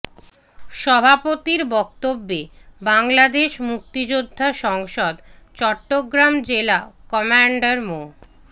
সভাপতির বক্তব্যে বাংলাদেশ মুক্তিযোদ্ধা সংসদ চট্টগ্রাম জেলা কমান্ডার মো